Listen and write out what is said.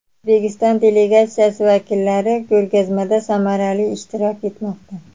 O‘zbekiston delegatsiyasi vakillari ko‘rgazmada samarali ishtirok etmoqda.